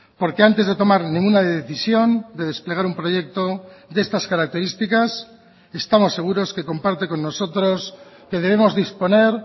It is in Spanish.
porque antes de tomar ninguna decisión de desplegar un proyecto de estas características estamos seguros que comparte con nosotros que debemos disponer